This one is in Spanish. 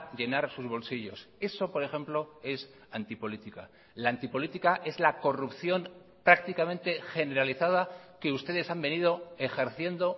llenar sus bolsillos eso por ejemplo es antipolítica la antipolítica es la corrupción prácticamente generalizada que ustedes han venido ejerciendo